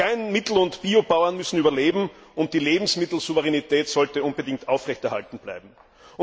Klein Mittel und Biobauern müssen überleben und die Lebensmittelsouveränität sollte unbedingt aufrechterhalten werden.